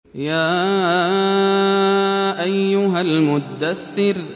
يَا أَيُّهَا الْمُدَّثِّرُ